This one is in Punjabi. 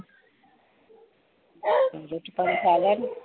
ਰੋਟੀ ਪਾਣੀ ਖਾ ਲਿਆ ਨੀ?